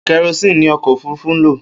Kerosini ni ọkọ òfurufú n lo